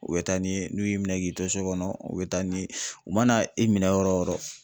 U bɛ taa n'i ye n'u y'i minɛ k'i to so kɔnɔ, u bɛ taa n'i ye , u mana e minɛ yɔrɔ o yɔrɔ